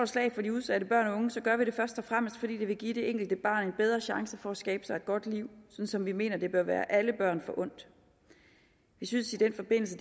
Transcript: slag for de udsatte børn og unge gør vi det først og fremmest fordi det vil give det enkelte barn en bedre chance for at skabe sig et godt liv som vi mener det bør være alle børn forundt vi synes i den forbindelse